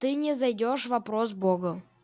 ты не зайдёшь вопросов богу